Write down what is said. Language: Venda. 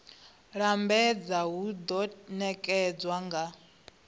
lambedza hu do nekedzwa nga